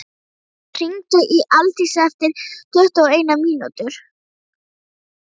Adólf, hringdu í Aldísi eftir tuttugu og eina mínútur.